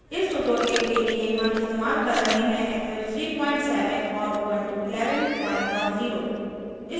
इस tutorial के लिए हम इस्तेमाल कर रहे हैं eclipse 370 और उबंटू 1110